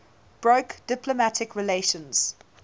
broke diplomatic relations